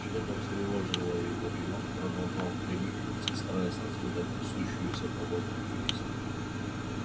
что то встревожило его и он продолжал принюхиваться стараясь разгадать несущуюся по воздуху весть